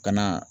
Ka na